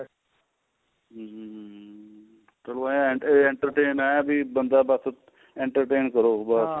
hm ਚਲੋ ਇਹ ਹੈ entertain ਹੈ entertain ਕਰੋ ਬਸ